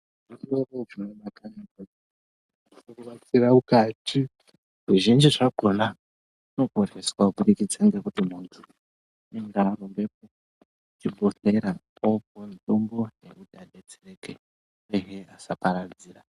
Kubatsira mukati zvizhinji zvakona unoponeswa kubudikidza ngekuti munthu unenge arumbe kuchibhedhlera opuwe mutombo wekuti adetsereke chirwere chisaparadzira.